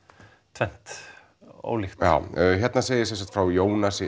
tvennt ólíkt hérna segir frá Jónasi